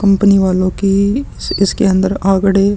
company वालो की इसके अन्दर आंकड़े --